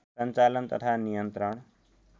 सञ्चालन तथा नियन्त्रण